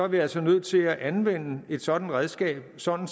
vi altså nødt til at anvende et sådant redskab sådan